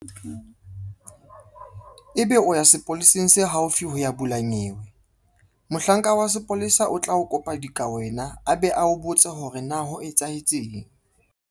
Ebe o ya sepoleseng se haufi ho ya bula nyewe. Mohlanka wa sepolesa o tla o kopa dikawena a be a o botse hore na ho etsahetseng.